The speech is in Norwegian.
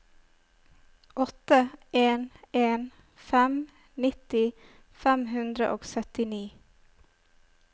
åtte en en fem nitti fem hundre og syttini